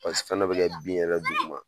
Paseke fɛnɛ bi kɛ bin yɛrɛ duguma